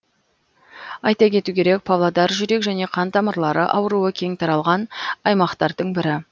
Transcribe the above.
айта кету керек павлодар жүрек және қан тамырлары ауруы кең таралған аймақтардың бірі